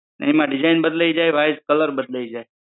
એમાં design બદલાઈ જાય size, colour બદલાઈ જાય.